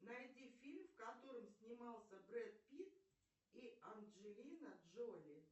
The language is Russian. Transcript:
найди фильм в котором снимался брэд питт и анджелина джоли